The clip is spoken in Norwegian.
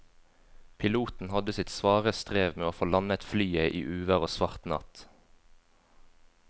Piloten hadde sitt svare strev med å få landet flyet i uvær og svart natt.